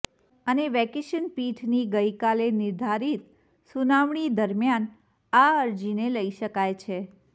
અને વેકેશન પીઠની ગઇકાલે નિર્ધારિત સુનાવણી દરમિયાન આ અરજીને લઇ શકાય છે